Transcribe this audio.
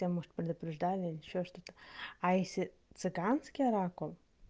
хотя может предупреждали ещё что-то а если цыганский оракул